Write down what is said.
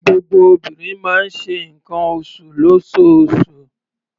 Gbogbo obìnrin máa ń ṣe nǹkan oṣù lóṣooṣù.